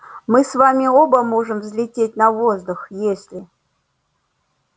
мы с вами оба можем взлететь на воздух если